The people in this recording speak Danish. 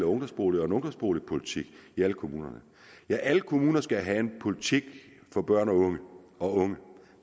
ungdomsboliger og en ungdomsboligpolitik i alle kommuner alle kommuner skal have en politik for børn og unge